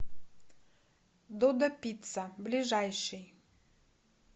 додо пицца ближайший